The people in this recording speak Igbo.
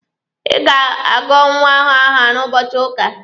Ị ga-agọ nwa ahụ aha n'ụbọchị ụka!